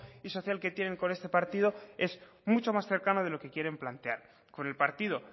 y social que tienen con este partido es mucho más cercano de lo que quieren plantear con el partido